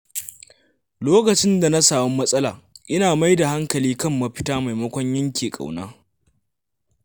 Lokacin da na samu matsala, ina mai da hankali kan mafita maimakon yanke ƙauna.